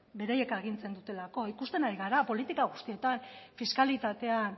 beraiek agintzen dutelako ikusten ari gara politika guztietan fiskalitatean